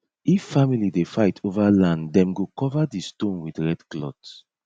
if family dey fight over land dem go cover di stone with red cloth